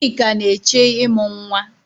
Chika na-eche ịmụ nwa.